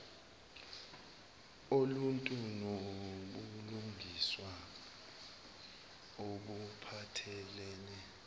oluntu nobulungiswa obuphathelene